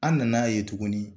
An nan'a ye tuguni.